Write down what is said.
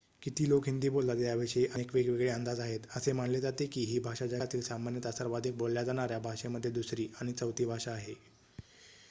किती लोक हिंदी बोलतात याविषयी अनेक वेगवेगळे अंदाज आहेत असे मानले जाते की ही भाषा जगातील सामान्यतः सर्वाधिक बोलल्या जाणाऱ्या भाषेमध्ये दुसरी आणि चौथी भाषा आहे